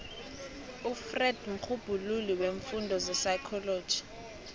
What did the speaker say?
ufreud mrhubhululi weemfundo zepsychology